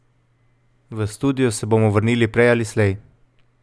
V studio se bomo vrnili prej ali slej.